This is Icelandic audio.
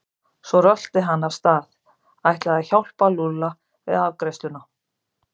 Svo rölti hann af stað, ætlaði að hjálpa Lúlla við afgreiðsluna.